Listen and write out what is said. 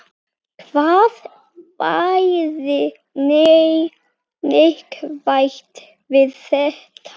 Hvað væri neikvætt við þetta?